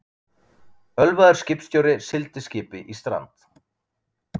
Ölvaður skipstjóri sigldi skipi í strand